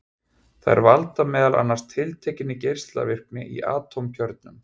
Þær valda meðal annars tiltekinni geislavirkni í atómkjörnum.